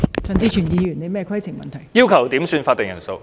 陳志全議員要求點算法定人數。